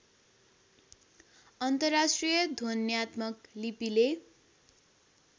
अन्तर्राष्ट्रिय ध्वन्यात्मक लिपिले